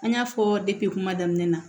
An y'a fɔ depi kuma daminɛ na